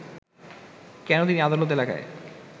কেন তিনি আদালত এলাকায়